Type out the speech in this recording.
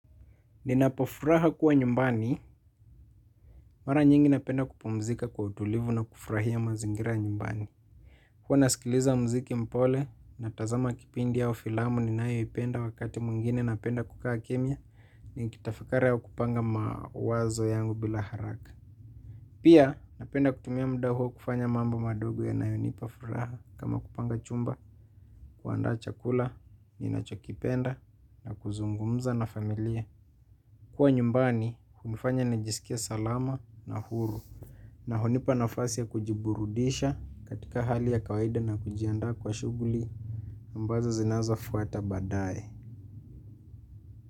Ninapafuraha kuwa nyumbani, mara nyingi napenda kupumzika kwa utulivu na kufurahia mazingira nyumbani. Huwa nasikiliza mziki mpole, natazama kipindi au filamu ninayoipenda wakati mwingine napenda kukaa kimya, nikitafakari au kupanga mawazo yangu bila haraka. Pia napenda kutumia muda huo kufanya mambo madogo yanayonipa furaha kama kupanga chumba, kuandaa chakula, ninachokipenda, na kuzungumza na familia. Kuwa nyumbani hunifanya nijisikie salama na huru. Na hunipa nafasi ya kujiburudisha katika hali ya kawaida na kujiandaa kwa shuguli ambazo zinazafuata badaye.